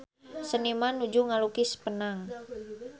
Seniman nuju ngalukis Penang